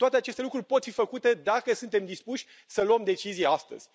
Toate aceste lucruri pot fi făcute dacă suntem dispuși să luăm decizii astăzi.